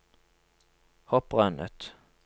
hopprennet